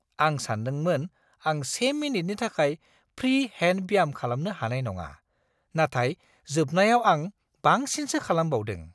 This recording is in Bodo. आं सानदोंमोन आं से मिनिटनि थाखाय फ्रि हेन्ड ब्याम खालामनो हानाय नङा, नाथाय जोबनायाव आं बांसिनसो खालामबावदों।